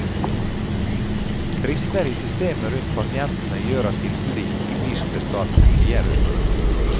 Brister i systemet rundt pasientene gjør at tilbudet ikke blir som det skal, sier hun.